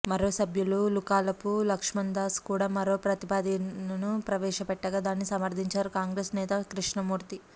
మరో సభ్యులు లుకాలపు లక్షణ్ దాస్ కూడా మరో ప్రతిపాదనను ప్రవేశపెట్టగా దీన్ని సమర్థించారు కాంగ్రెస్ నేత కృష్ణమూర్తి